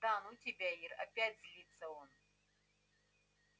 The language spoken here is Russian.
да ну тебя ир опять злится он